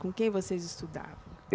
Com quem vocês estudavam?